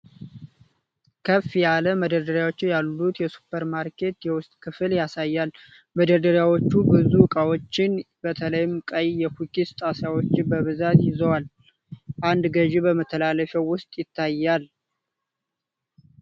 ከፍ ያለ መደርደሪያዎች ያሉት የሱፐርማርኬት የውስጥ ክፍል ያሳያል። መደርደሪያዎቹ ብዙ እቃዎችን፣ በተለይም ቀይ የኩኪስ ጣሳዎችን በብዛት ይዘዋል። አንድ ገዢ በመተላለፊያው ውስጥ ይታያል።